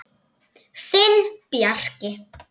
Þinn Bjarki.